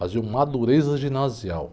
Fazia uma ginasial.